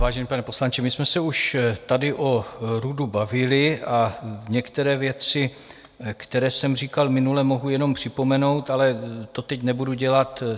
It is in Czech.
Vážený pane poslanče, my jsme se už tady o RUDu bavili a některé věci, které jsem říkal minule, mohu jenom připomenout, ale to teď nebudu dělat.